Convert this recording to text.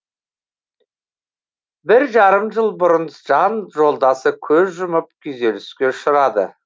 бір жарым жыл бұрын жан жолдасы көз жұмып күйзеліске ұшырады